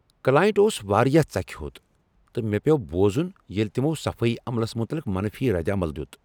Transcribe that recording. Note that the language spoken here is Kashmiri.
کلاینٛٹ اوس واریاہ ژکھِ ہوٚت تہٕ مےٚ پیوٚو بوزن ییٚلہ تمو صفٲیی عملس متعلق منفی ردعمل دیت۔